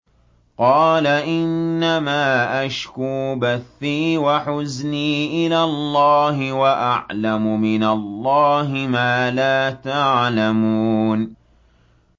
قَالَ إِنَّمَا أَشْكُو بَثِّي وَحُزْنِي إِلَى اللَّهِ وَأَعْلَمُ مِنَ اللَّهِ مَا لَا تَعْلَمُونَ